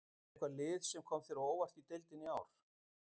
Er eitthvað lið sem kom þér á óvart í deildinni í ár?